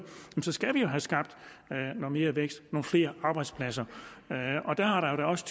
skal vi jo have skabt noget mere vækst og nogle flere arbejdspladser der har det også